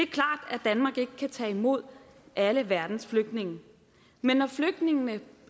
det ikke kan tage imod alle verdens flygtninge men når flygtningene